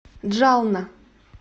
джална